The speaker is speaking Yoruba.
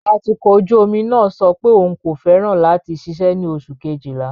Atukọ̀ ojú omi náà sọ pé òun kò fẹ́ràn láti ṣiṣẹ́ ní oṣù Kejìlá.